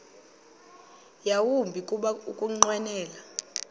yawumbi kuba ukunqwenela